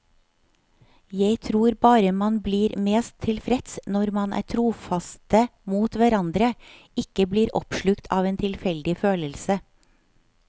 Jeg tror bare man blir mest tilfreds når man er trofaste mot hverandre, ikke blir oppslukt av en tilfeldig følelse.